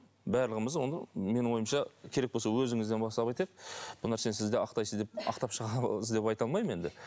барлығымыз оны менің ойымша керек болса өзіңізден бастап айтайық бұл нәрсені сіз де ақтайсыз деп ақтап шығасыз деп айта алмаймын енді